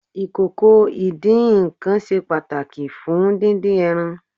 Ìkòkò ìdín-nǹkan ṣe pàtàkì fún dídín ẹran.